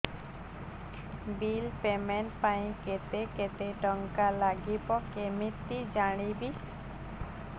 bill payment ପାଇଁ କେତେ କେତେ ଟଙ୍କା ଲାଗିବ କେମିତି ଜାଣିବି